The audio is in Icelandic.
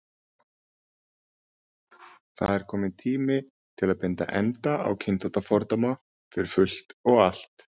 Það er kominn tími til að binda enda á kynþáttafordóma, fyrir fullt og allt.